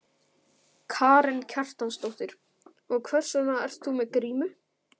Karen Kjartansdóttir: Og hvers vegna ert þú með grímu?